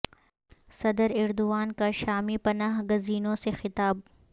صدر ایردوان کا شامی پناہ گزینوں سے خطاب